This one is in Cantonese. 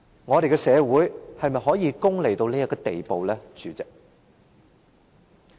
我們的社會是否可以功利至這個地步，代理主席？